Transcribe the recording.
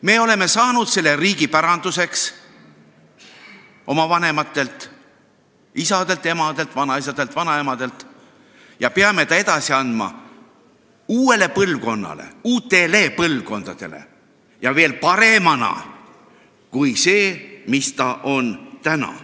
Me oleme saanud selle riigi päranduseks – oma vanematelt, isadelt, emadelt, vanaisadelt, vanaemadelt – ja peame ta edasi andma uuele põlvkonnale, uutele põlvkondadele ja veel paremana kui see, mis ta on praegu.